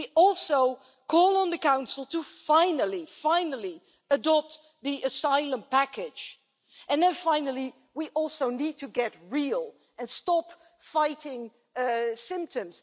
We also call on the Council to finally adopt the asylum package and then, finally, we also need to get real and stop fighting symptoms.